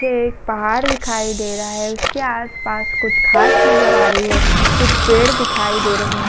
यह एक पहाड़ दिखाई दे रहा है। उसके आस-पास कुछ घास नजर आ रही है। कुछ पेड़ दिखाई दे रहे हैं।